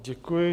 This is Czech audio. Děkuji.